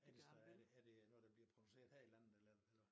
Er det så er det er det noget der bliver produceret her i landet eller eller hvad